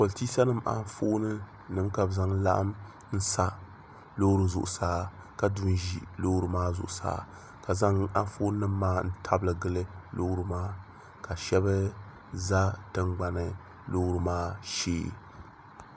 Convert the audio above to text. politɛsanim anƒɔni ka bɛ zaŋ laɣim n sa lori zuɣ saa ka du n ʒɛ lori maa zuɣ saa ka zaŋ anƒɔni nim maa tabili gili lori maa shɛbi zami la tiŋ gbani lori maa shɛɛ